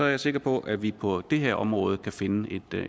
jeg sikker på at vi på det her område kan finde